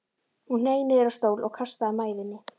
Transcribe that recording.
Hún hneig niður á stól og kastaði mæðinni.